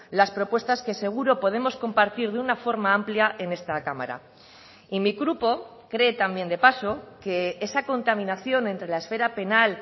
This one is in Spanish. las propuestas que seguro podemos compartir de una forma amplia en esta cámara y mi grupo cree también de paso que esa contaminación entre la esfera penal